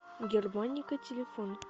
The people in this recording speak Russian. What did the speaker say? германика телефон